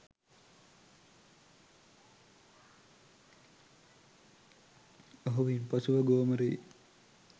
ඔහු ඉන් පසුව ගෝමරී